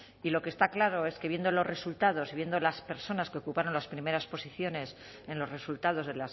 y lo que está claro es que viendo los resultados y viviendo las personas que ocuparon las primeras posiciones en los resultados de